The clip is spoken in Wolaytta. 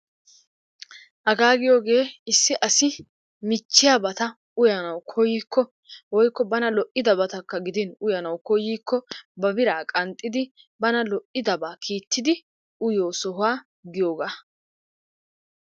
Hagaa giyooge issi asi michchiyabata uyanawu koykko bana woykko lo'idabatakka gidin uyanawu koykko ba biraa qanxxidi bana lo'idabaa kiitidi uyiyoo sohuwa giyoga.